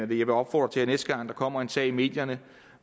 vil opfordre til at næste gang der kommer en sag i medierne